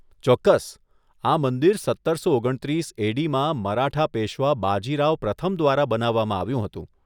ચોક્કસ, આ મંદિર સત્તરસો ઓગણત્રીસ એ.ડી.માં મરાઠા પેશ્વા બાજી રાવ પ્રથમ દ્વારા બનાવવામાં આવ્યું હતું.